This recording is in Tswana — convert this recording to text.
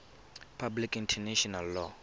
public international law